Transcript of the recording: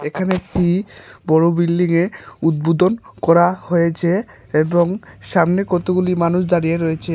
এখানে একটি বড় বিল্ডিং এ উদ্বোধন করা হয়েছে এবং সামনে কতগুলি মানুষ দাঁড়িয়ে রয়েছে।